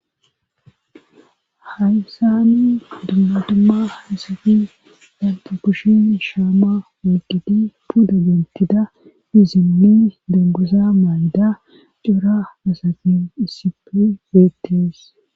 Haysani dummadumma hasafi danta kushin shaamma waqidi puda gentida izinnen demgusa mayda cora asatin issipe beettees.